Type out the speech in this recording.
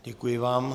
Děkuji vám.